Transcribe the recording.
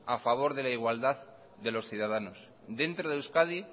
a favor de la igualdad de los ciudadanos dentro de euskadi